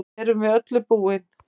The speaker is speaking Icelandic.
Erum við öllu búin